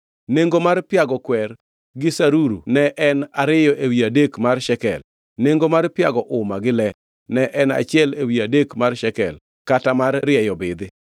Nengo mar piago kwer gi saruru ne en ariyo ewi adek mar Shekel, nengo mar piago uma gi le ne en achiel ewi adek mar Shekel, kata mar rieyo bidhi.